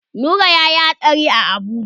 Nura yayi hatsari a Abuja.